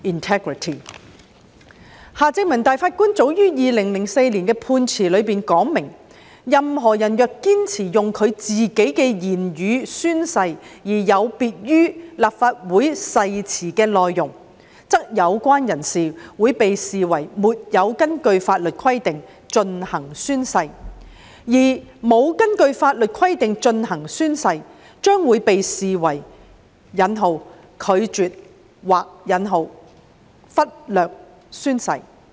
法官夏正民早在2004年的判詞中明言，任何人若堅持用自己的言語宣誓，而有別於立法會誓詞的內容，則有關人士會被視為沒有根據法律規定進行宣誓，而沒有根據法律規定進行宣誓，將會被視為"拒絕"或"忽略"宣誓。